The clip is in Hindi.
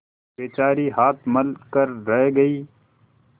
बेचारी हाथ मल कर रह गयी